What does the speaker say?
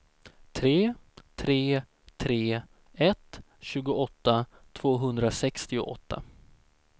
tre tre tre ett tjugoåtta tvåhundrasextioåtta